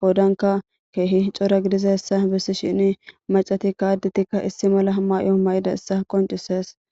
qodankka kehi cora giddidaysa besishin maccatika addetika issi mala mayo mayidayssa qonccises.